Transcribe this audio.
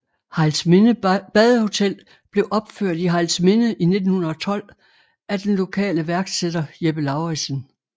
Hejlsminde Badehotel blev opført i Hejlsminde i 1912 af den lokale iværksætter Jeppe Lauridsen